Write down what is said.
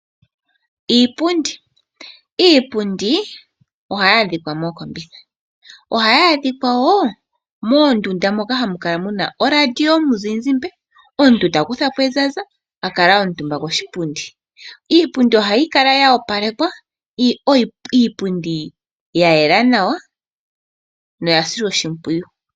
Iipundi. Iipundi ohayi adhika mookombitha, ohayi adhika wo mondunda moka hamukala muna oradio yomuzizimba, omuntu takuthapo ezaza, akala omutumba koshipundi. Iipundi ohayi kala yoopalekwa, yayela nawa yo oya silwa oshimpwiyu.